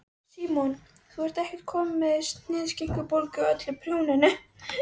Símon: Þú ert ekkert komin með sinaskeiðabólgu af öllu prjóninu?